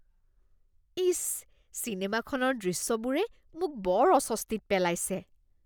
ইচ! চিনেমাখনৰ দৃশ্যবোৰে মোক বৰ অস্বস্তিত পেলাইছে।